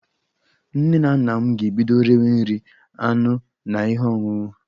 Nne na nna m ga-ebido rewe nri, anụ na ihe ọṅụṅụ